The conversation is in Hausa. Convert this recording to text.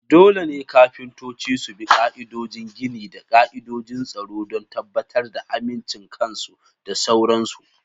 Dole ne kafintoci su bi ka'idodin gini da ka'idojin tsaro don tabbatar da amincin kansu da sauran su.